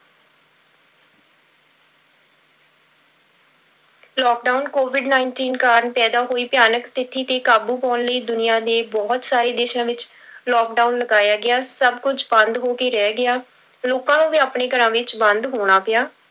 Lockdown covid nineteen ਕਾਰਨ ਪੈਦਾ ਹੋਈ ਭਿਆਨਕ ਸਥਿੱਤੀ ਤੇ ਕਾਬੂ ਪਾਉਣ ਲਈ ਦੁਨੀਆ ਦੇ ਬਹੁਤ ਸਾਰੇ ਦੇਸਾਂ ਵਿੱਚ lockdown ਲਗਾਇਆ ਗਿਆ, ਸਭ ਕੁੱਝ ਬੰਦ ਹੋ ਕੇ ਰਹਿ ਗਿਆ, ਲੋਕਾਂ ਨੂੰ ਵੀ ਆਪਣੇ ਘਰਾਂ ਵਿੱਚ ਬੰਦ ਹੋਣਾ ਪਿਆ।